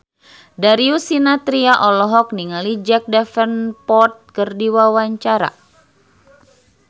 Darius Sinathrya olohok ningali Jack Davenport keur diwawancara